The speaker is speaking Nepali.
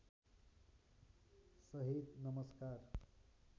सहित नमस्कार